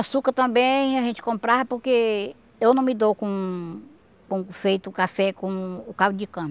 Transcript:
Açúcar também a gente comprava, porque eu não me dou com com feito café com o caldo de cana.